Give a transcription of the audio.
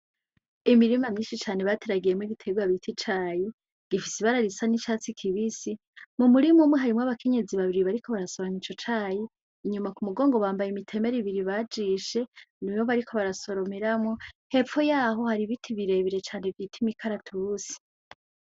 Imirima myinshi cane bateragiyemwo igiterwa citwa icayi gifise Ibara risa n'icastsi kibisi ,m'umurima hariyo abakenyezi babiri bariko barasoroma Ico cayi ,inyuma k'umugongo bambaye ibitemere bibiri bajishe niyo bariko barasoromera icayi hepfo yaho hari ibiti birebire cane bita imikaratusi.